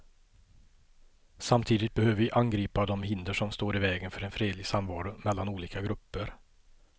Samtidigt behöver vi angripa de hinder som står i vägen för en fredlig samvaro mellan olika grupper.